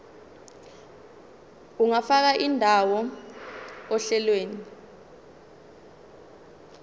ungafaka indawo ohlelweni